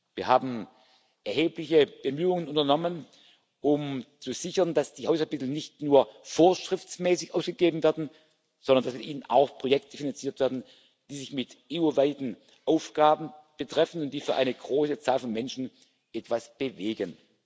Wir haben erhebliche Bemühungen unternommen, um zu sichern, dass die Haushaltsmittel nicht nur vorschriftsmäßig ausgegeben werden, sondern dass mit ihnen auch Projekte finanziert werden, die EU weite Aufgaben betreffen und die für eine große Zahl von Menschen etwas bewegen.